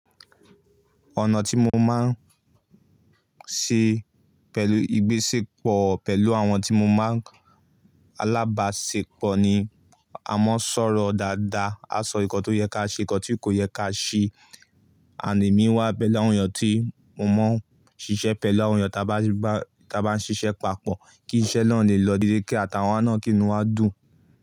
Ọ̀nà tí mo máa ń ṣe pẹ̀lú ìgbésẹ̀ pọ̀ pẹ̀lú àwọn tí mo máa ń alábáṣepọ̀ ni a máa ń sọ̀rọ̀ dáadáa, a sọ nǹkan tó yẹ ká ṣe, nǹkan tí kò yẹ ká ṣe, àìní mi wá pẹ̀lú àwọn èèyàn tí mo máa ń ṣiṣẹ́ pẹ̀lú àwọn èèyàn ta bá ń ṣiṣẹ́ papọ̀ kí iṣẹ́ náà lè lọ dédé kí àtàwọn náà kí inú wa dùn.